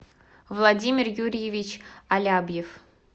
владимир юрьевич алябьев